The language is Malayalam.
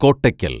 കോട്ടക്കല്‍